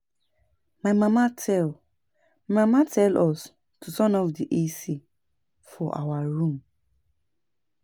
My mama tell My mama tell us to turn off the AC for our room